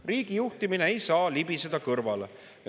Riigi juhtimisest ei saa libiseda kõrvale.